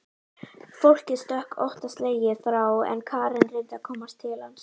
Fólkið stökk óttaslegið frá en Karen reyndi að komast til hans.